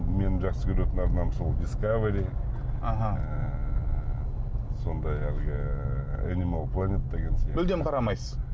мен жақсы көретін арнам сол дискавери аха ыыы сондай әлгі энимал планет деген сияқты мүлдем қарамайсыз